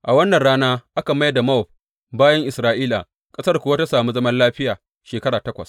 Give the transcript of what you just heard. A wannan rana aka mai da Mowab bayin Isra’ila, ƙasar kuwa ta sami zaman lafiya shekara takwas.